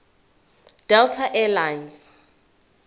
delta air lines